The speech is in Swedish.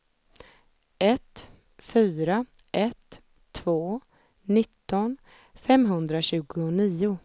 ett fyra ett två nitton femhundratjugonio